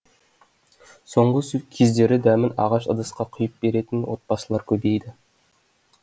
соңғы кездері дәмін ағаш ыдысқа құйып беретін отбасылар көбейді